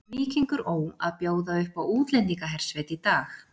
Víkingur Ó að bjóða upp á útlendingahersveit í dag.